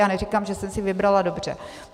Já neříkám, že jsem si vybrala dobře.